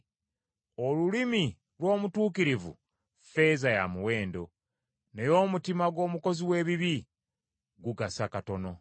Olulimi lw’omutuukirivu ffeeza ya muwendo, naye omutima gw’omukozi w’ebibi gugasa katono.